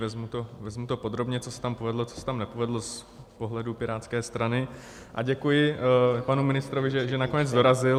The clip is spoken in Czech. Vezmu to podrobně, co se tam povedlo, co se tam nepovedlo z pohledu Pirátské strany, a děkuji panu ministrovi, že nakonec dorazil.